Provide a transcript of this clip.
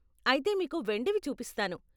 అయితే మీకు వెండివి చూపిస్తాను.